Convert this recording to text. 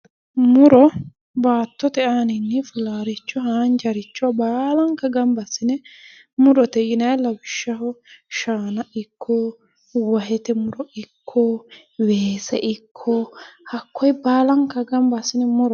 Muro babbaxitino baattote aanini laale fulanoricho haanjaricho baallankare gamba assine murote lawishshaho shaana ikko wahete muro ikko weese ikko hakkoe baallankare gamba assine murote